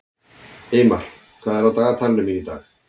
Eymar, hvað er á dagatalinu mínu í dag?